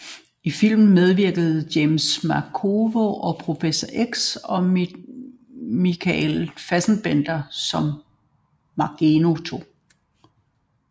I filmen medvirker James McAvoy som Professor X og Michael Fassbender som Magneto